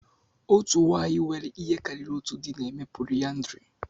Otu nwanyị nwere ihe karịrị otu di na-eme polyandry.